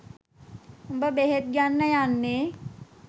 උඹ බෙහෙත් ගන්න යන්නේ